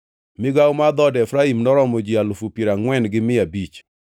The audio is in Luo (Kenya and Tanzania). Migawo mar dhood Efraim noromo ji alufu piero angʼwen gi mia abich (40,500).